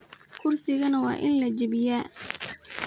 Kurigana wain lajabiya .